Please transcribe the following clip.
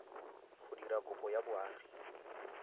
go dira kopo ya boagi